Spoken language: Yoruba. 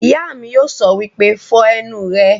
Ìyá mi yóò sọ wípé 'Fọ ẹnu rẹ'